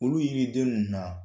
Olu yiniden ninnu na